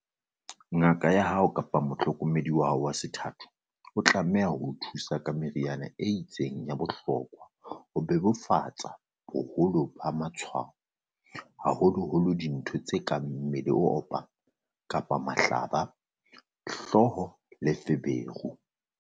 "Ngaka ya hao kapa mohlokomedi wa hao wa sethatho o tlameha o thusa ka meriana e itseng ya bohlokwa ho bebofatsa boholo ba matshwao, haholoholo dintho tse kang mmele o opang kapa mahlaba, hlooho le feberu."